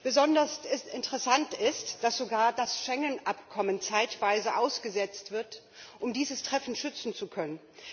Besonders interessant ist, dass sogar das Schengen Abkommen zeitweise ausgesetzt wird, um dieses Treffen schützen zu können.